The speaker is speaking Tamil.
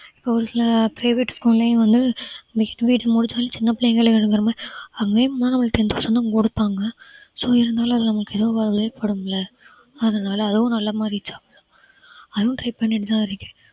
ஒரு சில private school லயும் வந்து next முடிச்சாலும் சின்ன பிள்ளைங்கள~ அங்கேயும் போனா நம்மளுக்கு ten thousand தான் கொடுப்பாங்க so இருந்தாலும் அது நம்மளுக்கு படும்ல அதனால அதுவும் நல்லா மாறி job தான் அதுவும் try பண்ணிட்டுதான் இருக்கேன்